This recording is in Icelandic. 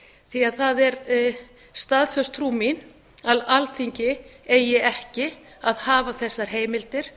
því það er staðföst trú mín að alþingi eigi ekki að hafa þessar heimildir